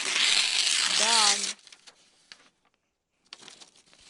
даань